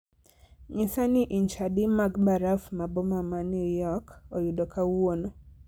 nyisa ni inch adi mag baraf ma boma ma new york oyudo kawuono